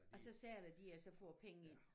Og så sælger de og så får penge ind